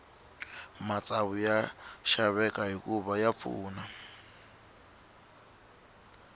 matsavu ya xaveka hikuva ya pfuna